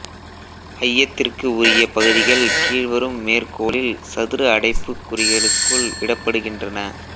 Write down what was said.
ஐயத்திற்கு உரிய பகுதிகள் கீழ்வரும் மேற்கோளில் சதுர அடைப்புக்குறிகளுக்குள் இடப்படுகின்றன